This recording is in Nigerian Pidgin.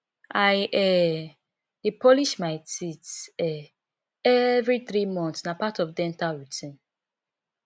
i um dey polish my teeth um every three months na part of dental routine